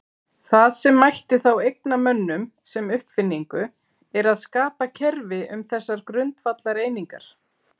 Það sem mætti þá eigna mönnum sem uppfinningu er að skapa kerfi um þessar grundvallareiningar.